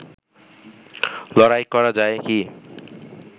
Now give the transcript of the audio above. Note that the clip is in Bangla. লড়াই করা যায় কি